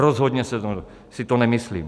Rozhodně si to nemyslím.